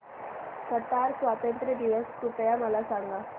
Qatar स्वातंत्र्य दिवस कृपया मला सांगा